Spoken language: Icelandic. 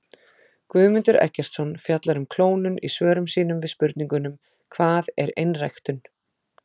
Guðmundur Eggertsson fjallar um klónun í svörum sínum við spurningunum Hvað er einræktun?